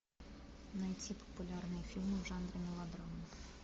найти популярные фильмы в жанре мелодрама